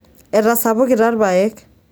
etasapukita ilpayek